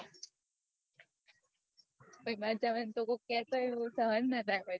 પણ બાર જવાનું કે તો સહન ના થાય